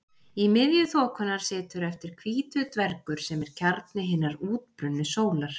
Í miðju þokunnar situr eftir hvítur dvergur sem er kjarni hinnar útbrunnu sólar.